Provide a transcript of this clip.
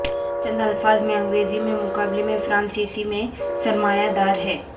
چند الفاظ میں انگریزی میں مقابلے میں فرانسیسی میں سرمایہ دار ہیں